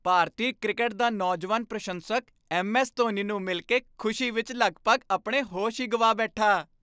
ਭਾਰਤੀ cricket ਦਾ ਨੌਜਵਾਨ ਪ੍ਰਸ਼ੰਸਕ ਐੱਮ.ਐੱਸ. ਧੋਨੀ ਨੂੰ ਮਿਲ ਕੇ ਖੁਸ਼ੀ ਵਿੱਚ ਲਗਭਗ ਆਪਣੇ ਹੋਸ਼ ਹੀ ਗਵਾ ਬੈਠਾ।